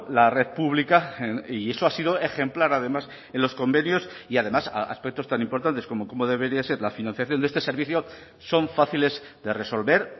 la red pública y eso ha sido ejemplar además en los convenios y además aspectos tan importantes como cómo debería ser la financiación de este servicio son fáciles de resolver